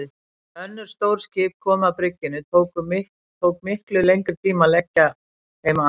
Þegar önnur stór skip komu að bryggjunni tók miklu lengri tíma að leggja þeim að.